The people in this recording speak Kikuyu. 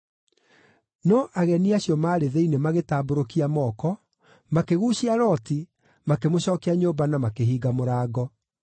No ageni acio maarĩ thĩinĩ magĩtambũrũkia moko, makĩguucia Loti, makĩmũcookia nyũmba na makĩhinga mũrango.